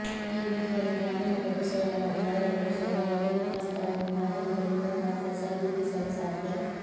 ಈ ನಿಟ್ಟಿನಲ್ಲಿ ಗ್ರಾಮೀಣ ಪ್ರದೇಶಗಳ ಮತ್ತು ನಗರ ಪ್ರದೇಶಗಳ ನಡುವಿನ ಅಂತರವನ್ನು ಮಾಧ್ಯಮಗಳಿಂದ ಮಾತ್ರ ಸರಿದೂಗಿಸಲು ಸಾಧ್ಯ